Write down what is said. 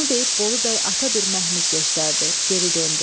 Bunu deyib Bolu bəy ata bir məhmiz göstərdi, geri döndü.